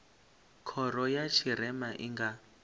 khoro ya tshirema i nga